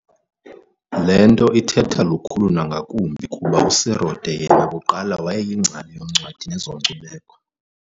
"Le nto ithetha lukhulu nangakumbi kuba uSerote yena kuqala wayeyingcali yoncwadi nezenkcubeko.